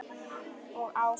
Og áfram.